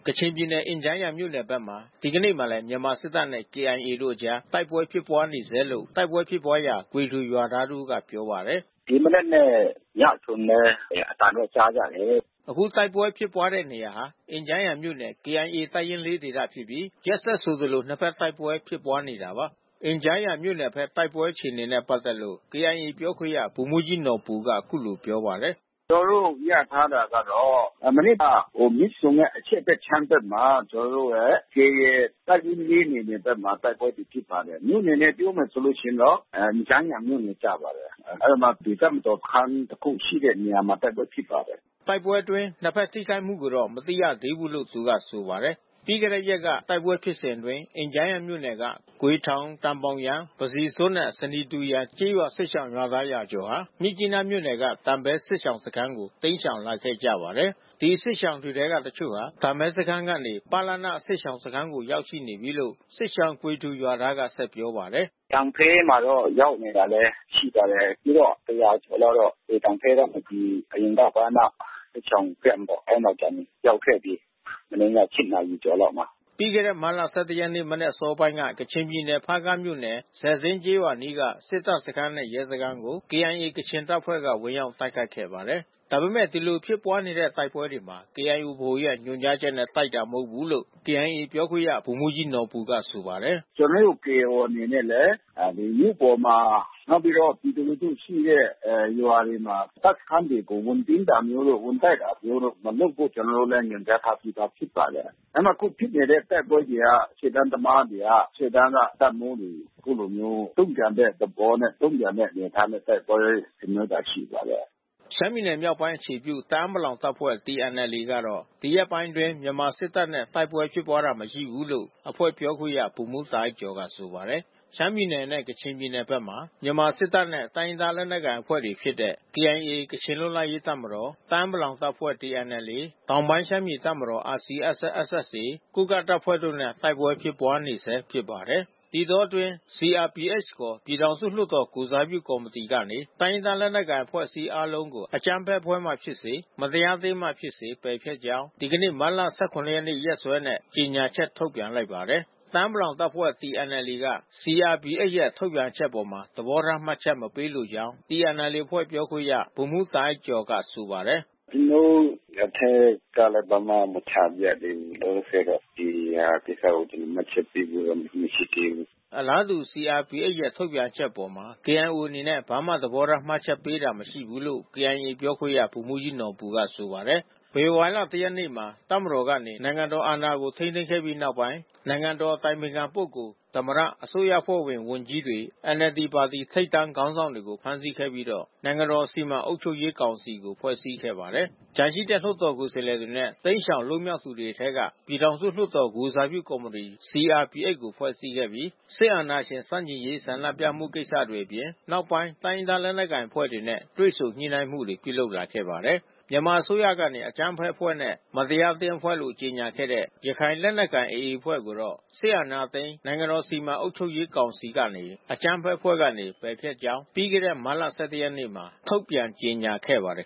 ကချင်ပြည်နယ် အင်ဂျားယန်မြို့နယ်ဘက်မှာ ဒီကနေ့မှာလည်း မြန်မာစစ်တပ်နဲ့ KIA တို့အကြား တိုက်ပွဲဖြစ်ပွါးနေဆဲလို့ တိုက်ပွဲဖြစ်ပွါးရာ ဂွေထူရွာသားတဦးကပြောပါတယ်။ “ဒီမနက်နဲ့ ညဆိုရင်လည်း အသံတွေကြားရတယ်။” အခုတိုက်ပွဲဖြစ်ပွါးတဲ့နေရာဟာ အင်ဂျားယန်မြို့နယ် KIA တပ်ရင်း ၄ ဒေသဖြစ်ပြီး ရက်ဆက်ဆိုသလို နှစ်ဘက်တိုက်ပွဲ ဖြစ်ပွါးနေတာပါ။ အင်ဂျားယန်မြို့နယ်ဘက် တိုက်ပွဲအခြေအနေနဲ့ ပက်သက်လို့ KIA ပြောခွင့်ရ ဗိုလ်မှူးကြီးနော်ဘူက အခုလို ပြောပါတယ်။ “ကျနော်တို့ ရထားတာကတော့ မနေ့က မြစ်ဆုံရဲ့အရှေ့ဘက်ခြမ်းဘက်မှာ ကျနော်တို့ KIA ရဲ့ တပ်ရင်း ၄ နယ် မြေဘက်မှာ တိုက်ပွဲဖြစ်နေပါတယ်။ မြို့နယ်နဲ့ ပြောမယ်ဆိုရင်တော့ အင်ဂျားယန်မြို့နယ်ကျပါတယ်။ အဲဒီမှာ တပ်မတော်စခန်း တခုရှိတဲ့နေရာမှာ တိုက်ပွဲဖြစ်ပါတယ်။” ဒီတိုက်ပွဲအတွင်းနှစ်ဘက်ထိခိုက်မှုကိုတော့ မသိရသေးဘူးလို့ သူက ဆိုပါတယ်။ ပြီးခဲ့တဲ့ ရက်ကတိုက်ပွဲဖြစ်စဉ်အတွင်း အင်ဂျားယန်မြို့နယ်က ဂွေထောင်၊ တန်ဘောင်ယန်၊ ပစီဇွပ်နဲ့ ဆနီတူ ယန်ကျေးရွာစစ်ရှောင်ရွာသား ရာကျော်ဟာ မြစ်ကြီးနားမြို့နယ်က တန်ဖဲ စစ်ရှောင်စခန်းကိုတိမ်းရှောင်လာခဲ့ကြပါတယ်။ ဒီစစ်ရှောင်တွေထဲက တချို့ဟာ တန်ဖဲစခန်းကနေ ပလနစစ်ရှောင်စခန်းကို ရောက်ရှိနေပြီးလို့ စစ်ရှောင်ဂွေထူ ရွာသားက ဆက်ပြောပါတယ်။ “တန်ဖဲမှာတော့ ရောက်နေတာလည်း ရှိပါတယ်။ အခုတော့ ၁၀၀ ကျော်လောက်ကတော့ ဒီတန်ဖဲကနေ အရင်က ပလန စစ်ရှောင် Camp ပေါ့။ အဲဒီမှာရောက်ခဲ့ပြီး။ မနေ့ည ၈ နာရီခွဲလောက်မှာ။” ပြီးခဲ့တဲ့ မတ်လ ၁၁ ရက် မနက်အစောပိုင်းမှာ ကချင်ပြည်နယ်၊ ဖားကန့်မြို့နယ်၊ ဆယ်ဇင်းကျေးရွာအနီးက စစ်တပ်စခန်းနဲ့ ရဲစခန်းကို KIA ကချင်တပ်ဖွဲ့က ဝင်ရောက်တိုက်ခိုက်ခဲ့ပါတယ်။ ဒါပေမဲ့ ဒီလိုဖြစ်တဲ့ တိုက်ပွဲတွေမှာ KIA ဗဟိုရဲ့ ညွှန်ကြားချက်နဲ့ တိုက်တာ မဟုတ်ဘူးလို့ KIA ပြောခွင့်ရ ဗိုလ်မှူးကြီး နော်ဘူကဆိုပါတယ်။ “ကျနော်တို့ KIO အနေနဲ့လည်း မြို့ပေါ်မှာ နောက်ပြီးတော့ ပြည်သူလူထုရှိတဲ့ ရွာတွေမှာတပ်စခန်းတွေကို ဝင်စီးတာမျိုးတို့၊ ဝင်တိုက်တာမျိုးတို့ မလုပ်ဖို့ ကျနော်တို့ ညွှန်ကြားထားပြီးသားဖြစ်ပါတယ်။ ဒါပေမဲ့ အခုဖြစ်နေတဲ့တိုက်ပွဲတွေက ရှေ့တန်းသမားတွေက ရှေ့တန်းက တပ်မှူးတွေ အခုလိုမျိုး တုံ့ပြန်တဲ့သဘောနဲ့ တုံ့ပြန်တဲ့ အနေအထားနဲ့ တိုက်ပွဲ ဆင်နွှဲတာရှိပါတယ်။” ရှမ်းပြည်နယ်မြောက်ပိုင်းအခြေပြု တအာင်းပလောင်တပ်ဖွဲ့TNLA ကတော့ ဒီရက်ပိုင်းတွေအတွင်း မြန်မာစစ်တပ်နဲ့ တိုက်ပွဲဖြစ်ပွါးတာ မရှိခဲ့ဘူးလို့ အဖွဲ့ပြောခွင့်ရဗိုလ်မှူးတာအိုက်ကျော်ကဆိုပါတယ်။ ရှမ်းပြည်နယ်နဲ့ ကချင်ပြည်နယ်ဘက်မှာ မြန်မာစစ်တပ်နဲ့ တိုင်းရင်းသားလက်နက်ကိုင်အဖွဲ့တွေဖြစ်တဲ့ KIA ကချင်လွတ်လပ်ရေးတပ်မတော် တအာင်းပလောင်တပ်ဖွဲ့TNLA တောင်ပိုင်းရှမ်းပြည်တပ်မတော်RCSS/SSA ကိုးကန့်တပ်ဖွဲ့တို့နဲ့ တိုက်ပွဲဖြစ်ပွါးနေဆဲဖြစ်ပါတယ်။ ဒီအတောအတွင်း CRPH ခေါ် ပြည်ထောင်စုလွှတ်တော်ကိုယ်စားပြုကော်မီတီကနေ တိုင်းရင်းသားလက်နက်ကိုင်အဖွဲ့အစည်းအားလုံးကို အကြမ်းဖက်အဖွဲ့မှ ဖြစ်စေ၊ မတရားအသင်းမှဖြစ်စေ ပယ်ဖျက်ကြောင်း ဒီနေ့မတ်လ ၁၇ ရက်နေ့ ရက်စွဲနဲ့ ကြေညာချက်ထုတ်ပြန်လိုက်ပါတယ်။ တအာင်းပလောင်တပ်ဖွဲ့TNLA အဖွဲ့က CRPH ရဲ့ ထုတ်ပြန်ချက်အပေါ် သဘောထားမှတ်ချက်မပေးလိုကြောင်း TNLA အဖွဲ့ပြောခွင့်ရဗိုလ်မှူးတာအိုက်ကျော်က ဆိုပါတယ်။ “ကျနော်တို့အထဲကလည်း ဘာမှ မချပြသေးဘူး။ လောလောဆယ်တော့ ဒီဟာကိစ္စကို မှတ်ချက်ပေးဖို့တော့ မရှိသေးဘူး။” အလားတူ CRPH ရဲ့ထုတ်ပြန်ချက်အပေါ် KIO အနေနဲ့ ဘာမှသဘောထားမှတ်ချက်ပေးတာမရှိဘူးလို့ KIA ပြောခွင့်ရ ဗိုလ်မှူးကြီးနော်ဘူကဆိုပါတယ်။ ဖေဖော်ဝါရီ ၁ ရက်နေ့မှာ တပ်မတော်ကနေ နိုင်ငံတော်အာဏာကို ထိန်းသိမ်းခဲ့ပြီးနောက်ပိုင်း နိုင်ငံတော်အတိုင်ပင်ခံ ပုဂ္ဂိုလ်၊ သမ္မတ အစိုးရအဖွဲ့ဝင်ဝန်ကြီးတွေ NLD ပါတီထိပ်တန်းခေါင်းဆောင်တွေကို ဖမ်းဆီးခဲ့ပြီးတော့ နိုင်ငံတော်စီမံအုပ်ချုပ်ရေးကောင်စီကို ဖွဲ့စည်းခဲ့ပါတယ်။ ကျန်ရှိတဲ့ လွှတ်တော်ကိုယ်စားလှယ်တွေနဲ့ တိမ်းရှောင်လွတ်မြောက်သူတွေအထဲက ပြည်ထောင်စုလွှတ်တော် ကိုယ်စားပြုကော်မီတီ CRPH ကို ဖွဲ့စည်းခဲ့ပြီး စစ်အာဏာရှင်ဆန့်ကျင်ရေးဆန္ဒပြမှုကိစ္စတွေအပြင် နောက်ပိုင်း တိုင်းရင်းသားလက်နက်အဖွဲ့တွေနဲ့ တွေ့ဆုံညှိနှိုင်းမှုတွေပြုလုပ်လာခဲ့ပါတယ်။ မြန်မာအစိုးရကနေ အကြမ်းဖက်အဖွဲ့နဲ့ မတရားအသင်းအဖွဲ့လို့ ကြေညာခဲ့တဲ့ ရခိုင်လက်နက်ကိုင် AA အဖွဲ့ကိုတော့ စစ်အာဏာသိမ်း နိုင်ငံတော်စီမံအုပ်ချုပ်ရေးကောင်စီကနေ အကြမ်းဖက်အဖွဲ့ကနေ ပယ်ဖျက်ကြောင်း ပြီးခဲ့တဲ့မတ်လ ၁၁ ရက်နေ့မှာ ထုတ်ပြန်ကြေညာခဲ့ပါတယ်